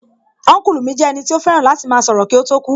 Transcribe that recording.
Ọ́nkùlù mi jẹ́ ẹnì tí ó fẹ́ràn láti máa sọ̀rọ̀ kí ó tó kú